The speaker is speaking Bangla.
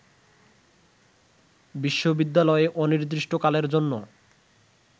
বিশ্ববিদ্যালয়ে অনির্দিষ্টকালের জন্য